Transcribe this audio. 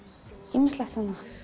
ýmislegt